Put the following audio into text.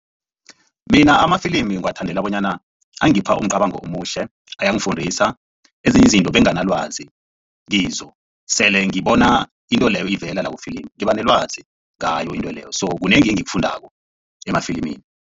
Mina amafilimi ngiwathandela bonyana angipha umcabango omuhle ayangifundisa ezinye izinto benganalwazi kizo, sele ngibona into leyo ivela lapho kufilimu ngiba nelwazi ngayo into leyo sokunengi engikufundako emafilimini.